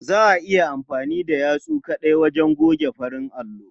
Za a iya amfani da yatsu kaɗai wajen goge farin allo.